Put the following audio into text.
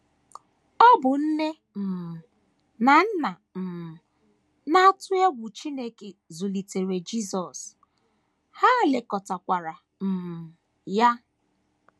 Ọ bụ nne um na nna um na - atụ egwu Chineke zụlitere Jisọs, ha lekọtakwara um ya.